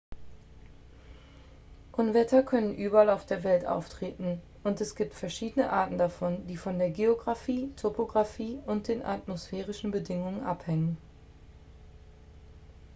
unwetter können überall auf der welt auftreten und es gibt verschiedene arten davon die von der geographie topographie und den atmosphärischen bedingungen abhängen